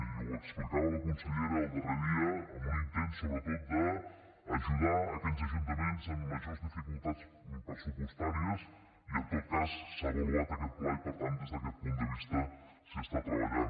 i ho explicava la consellera el darrer dia en un intent sobretot d’ajudar aquells ajuntaments amb majors dificultats pressupostàries i en tot cas s’ha avaluat aquest pla i per tant des d’aquest punt de vista s’hi està treballant